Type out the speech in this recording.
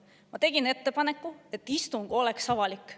Ma tegin ettepaneku, et istung oleks avalik.